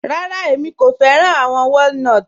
Rárá, ẹ̀mi kò fẹ̀ràn awọn wọ̀línotí